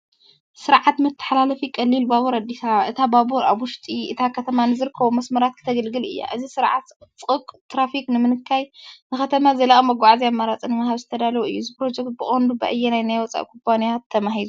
ስርዓት መተሓላለፊ ቀሊል ባቡር ኣዲስ ኣበባ። እታ ባቡር ኣብ ውሽጢ እታ ከተማ ንዝርከቡ መስመራት ከተገልግል እያ። እዚ ስርዓት ፅቕጥቕጥ ትራፊክ ንምንካይን ንከተማ ዘላቒ መጓዓዝያ ኣማራፂ ንምሃብን ዝተዳለወ እዩ። እዚ ፕሮጀክት ብቐንዱ ብኣየናይ ናይ ወጻኢ ኩባንያ ተማሂዙ?